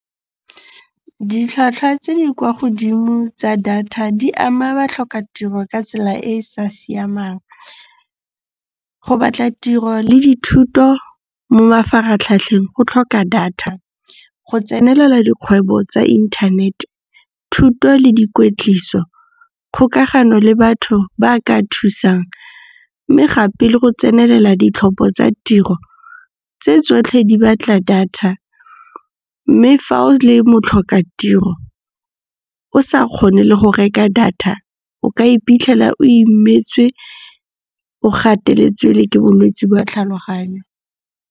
Ditlhwatlhwa tse di kwa godimo tsa data di ama batlhokatiro ka tsela e e sa siamang. Go batla tiro le dithuto mo mafaratlhatlheng go tlhoka data. Go tsenelela dikgwebo tsa inthanete, thuto le di kwetliso, kgokagano le batho ba ka thusang mme gape le go tsenelela ditlhopho tsa tiro, tse tsotlhe di batla data mme fa o le motlhokatiro o sa kgone le go reka data, o ka iphitlhela o imetswe o gateletswe le ke bolwetsi ba tlhaloganyo.